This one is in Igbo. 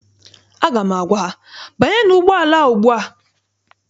Aga m agwa ha, banyenụ ụgbọala ugbua!